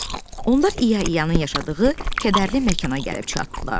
Onlar İyanın yaşadığı kədərli məkana gəlib çatdılar.